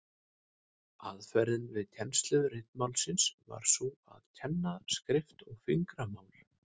Aðferðin við kennslu ritmálsins var sú að kenna skrift og fingramál.